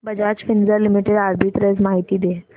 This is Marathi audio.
बजाज फिंसर्व लिमिटेड आर्बिट्रेज माहिती दे